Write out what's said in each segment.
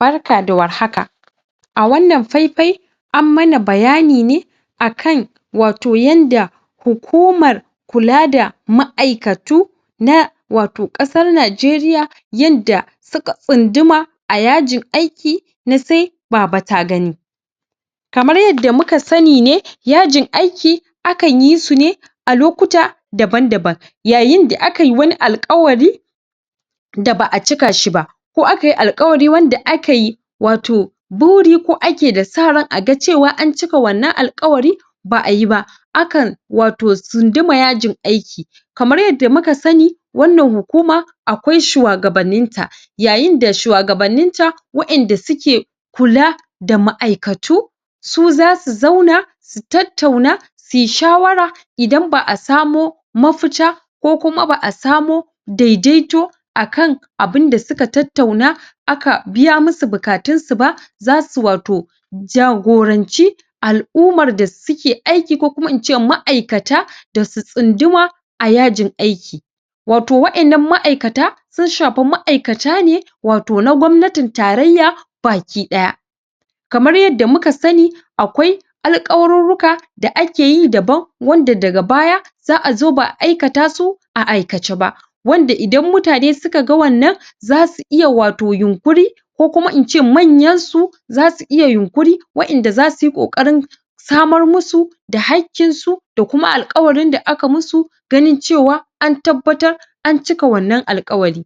Barka da warhaka, a wannan faifai an mana bayani ne akan wato yanda hukumar kula da ma'aikatu na, wato ƙasar najeriya yanda suka tsunduma a yajin aiki na se bab ta gani kamar yadda muka sani ne, yajin aiki akan yi su ne a lokuta daban daban yayinda akayi wani alƙawari da ba'a cikashi ba, ko akayi alƙawari wanda akai wato buri ko ake da sa ran aga cewa an cika wannan alƙawari ba'ayi ba akan, wato tsunduma yajin aiki kamar yadda muka sani wannan hukuma akwai shuwagabanninta. Yayinda shuwagabanninta wa inda suke kula da ma'aikatu su za su zauna su tattauna suyi shawara idan ba'a samo mafita, ko kuma ba'a samo dai daito akan abun da suka tattauna aka biya musu bukatunsu ba zasu, wato jagoranci al'ummar da suke aiki ko kuma ince ma'aikata da su tsunduma a yajin aiki. wato wa innan ma'aikata sun shafi ma'aikata ne wato na gwabnatin tarayya baki ɗaya kamar yadda muka sani akwai alƙawarurruka da akeyi daban wanda daga baya za'a zo ba'a aikatasu a aikace ba. wanda idan mutane sukaga wannan zasu iya wato yunƙuri ko kuma in ce manyansu zasu iya yunƙuri, wa inda zasuyi ƙoƙarin samo musu da hakƙinsu da kuma alkawarin da aka musu ganin cewa an tabbatar an cika wannan alƙawari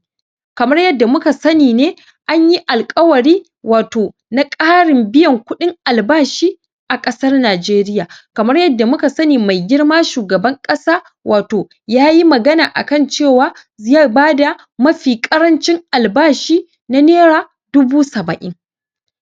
kamar yadda muka sani ne anyi alƙawari wato na ƙarin biyan kuɗin albashi a ƙasar najeriya. kamar yadda muka sani mai girma shugaban ƙasa wato yayi magana akan cewa zai bada mafi ƙarancin albashi na nera dubu saba'in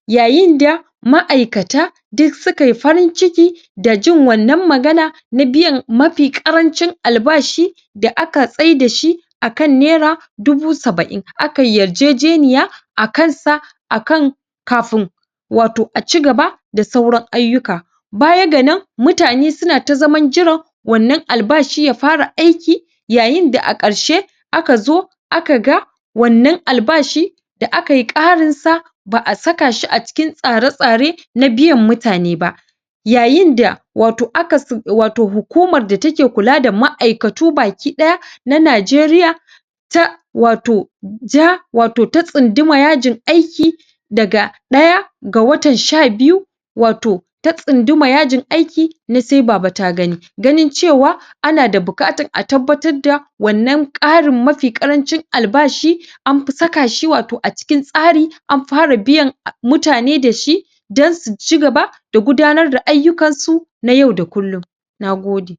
yayinda ma'aikata duk sukayi farin ciki da jin wannan magana na biyan mafi ƙarancin albashi da aka tsaidashi akan nera dubu saba'in. akayi yarjejeniya a kansa akan kafin wato a ci gaba da sauran ayyuka. Baya ga nan mutane suna ta zaman jiran wannan albashi ya fara aiki yayinda a ƙarshe aka zo aka ga wannan albashi da akayi ƙarinsa ba'a sakashi a cikin tsare tsare na biyan mutane ba. yayinda wato aka sa.. wato hukumar da take kula da ma'aikatu baki ɗaya na najeriya ta wato jaa wato ta tsunduma yajin aiki daga ɗaya ga watan sha biyu wato ta tsunduma yajin aiki na sai baba ta gani. ganin cewa ana da buƙatar a tabbatar da wannan ƙarin mafi ƙarancin albashi anfi sakashi wato a cikin tsari an fara biyan a mutane dashi don suci gaba da gudanar da ayyukansu na yau da kullum, na gode.